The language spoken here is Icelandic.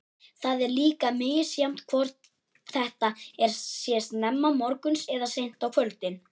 Það er líka misjafnt hvort þetta sé snemma morguns eða seint á kvöldin.